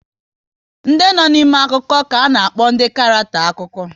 Ndị no n'ime akụkọ ka ana-akpọ ndị karackter akụkọ